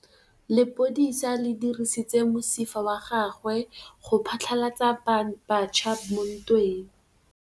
Lepodisa le dirisitse mosifa wa gagwe go phatlalatsa batšha mo ntweng.